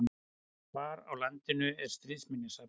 Hvar á landinu er Stríðsminjasafnið?